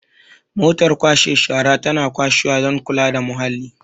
motar kwashe shara tana kwashewa don kula da muhalli